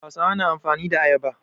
Hausawa na amfani da ayaba.